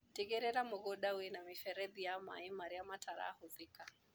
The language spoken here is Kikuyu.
Tĩgĩrĩra mũgunda wĩna mĩberethi ya maĩ marĩa matarahũthika.